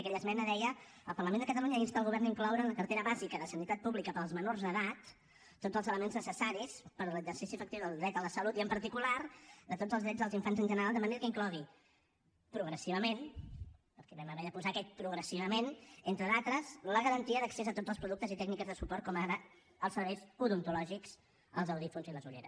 aquella esmena deia el parlament de catalunya insta el govern a incloure en la cartera bàsica de sanitat pública per als menors d’edat tots els elements necessaris per a l’exercici efectiu del dret a la salut i en particular de tots els drets dels infants en general de manera que inclogui progressivament perquè hi vam haver de posar aquest progressivament entre d’altres la garantia d’accés a tots els productes i tècniques de suport com ara els serveis odontològics els audiòfons i les ulleres